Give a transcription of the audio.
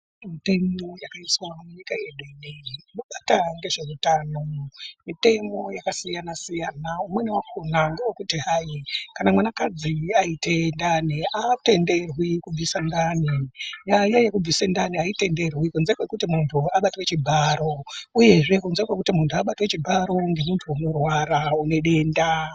Mitemo yakaiswa munyika yedu inoyi inobata ngezveutano mitemo yakasiyana siyana umweni wakona ngewekuti hai kana mwanakadzi aite ndani aatenderwi kubvise ndani nyaya yekubvise ndani aitenderwi kunze kwekuti muntu abatwe chibharo uyezve kunze kwekuti muntu abatwe chibharo ngemuntu unorwara une denda.